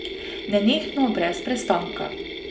Nenehno, brez prestanka.